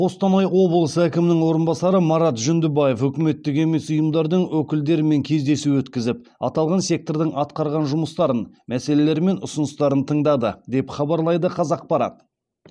қостанайда облыс әкімінің орынбасары марат жүндібаев үкіметтік емес ұйымдардың өкілдерімен кездесу өткізіп аталған сектордың атқарған жұмыстарын мәселелері мен ұсыныстарын тыңдады деп хабарлайды қазақпарат